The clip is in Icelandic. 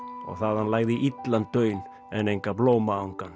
og þaðan lagði illan daun en enga